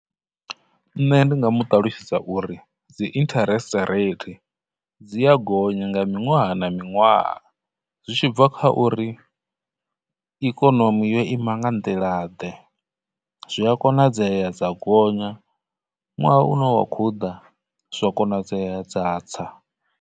Nṋe ndi nga mu ṱalutshedza uri dzi interest rate dzi a gonya nga miṅwaha na miṅwaha zwi tshi bva kha uri ikonomi yo ima nga nḓila ḓe, zwi a konadzea dza gonya, nwaha une wa khou ḓa zwa konadzea dza tsa.